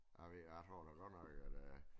Jeg ved jeg tror da godt nok at øh